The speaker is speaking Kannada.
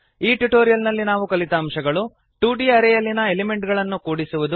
ಈ ಟ್ಯುಟೋರಿಯಲ್ ನಲ್ಲಿ ನಾವು ಕಲಿತ ಅಂಶಗಳು160 2ದ್ ಅರೇ ಯಲ್ಲಿನ ಎಲಿಮೆಂಟ್ ಗಳನ್ನು ಕೂಡಿಸುವುದು